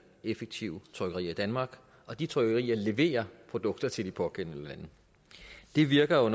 og effektive trykkerier danmark og de trykkerier leverer produkter til de pågældende lande det virker